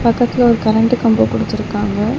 பக்கத்துல ஒரு கரண்ட்டு கம்போ குடுத்துருக்காங்க.